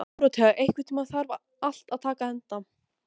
Dórótea, einhvern tímann þarf allt að taka enda.